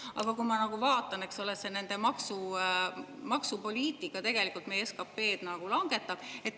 Aga kui ma vaatan, see nende maksumaksupoliitika tegelikult meie SKP-d langetab.